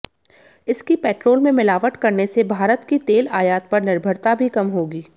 इसकी पेट्रोल में मिलावट करने से भारत की तेल आयात पर निर्भरता भी कम होगी